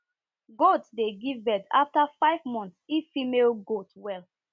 goat dey give birth after five months if female goat well